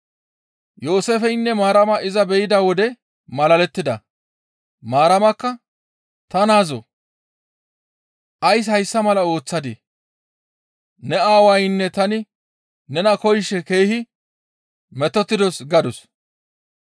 Yooseefeynne Maarama iza be7ida wode malalettida. Maaramakka, «Ta naazoo ays hayssa mala ooththadii? Ne aawaynne tani nena koyishe keehi metotettidos» gadus.